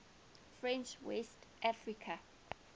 french west africa